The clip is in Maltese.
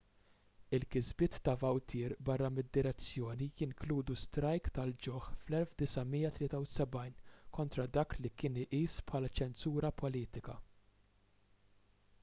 il-kisbiet ta' vautier barra mid-direzzjoni jinkludu strajk tal-ġuħ fl-1973 kontra dak li kien iqis bħala ċensura politika